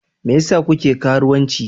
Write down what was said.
Me yasa kuke karuwanci?